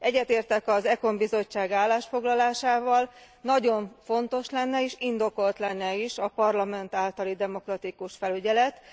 Egyetértek az ECON bizottság állásfoglalásával nagyon fontos lenne és indokolt is lenne a Parlament általi demokratikus felügyelet.